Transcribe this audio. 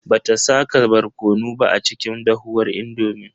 Bata saka barkono ba a cikin dahuwar indomin.